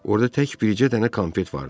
Orda tək bircə dənə konfet vardı.